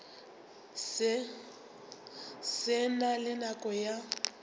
se na le nako ya